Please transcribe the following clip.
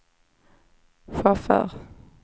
chaufför